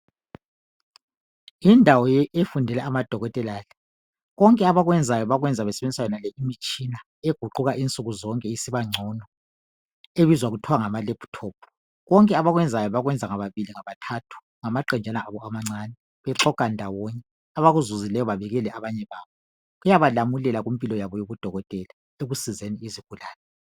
Indawo efundela amadokotela le imitshina eguquka nsukuzonke isibangcono ebizwa kuthwa ngamalaptop konke abakwenzayo bakwenza ngababili ngabathathu ngamaqenjana abo amancani konke abakutholayo bayatshelana lokhu kuyabasiza empilweni zabo njengamadokotela